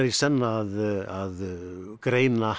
senn að greina